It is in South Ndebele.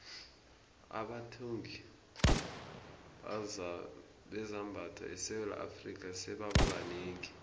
abathungi bezambatho esewula afrika sebaba banengi